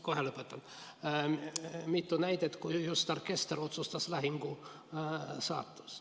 Ja ajaloost võib tuua mitu näidet, kus just orkester otsustas lahingu saatuse.